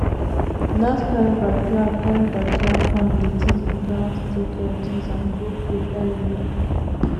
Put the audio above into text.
that kind backyard kind backyard farm dey teach pikin how to take care of things and grow food early